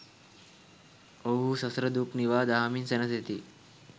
ඔවුහු සසර දුක් නිවා දහමින් සැනසෙති.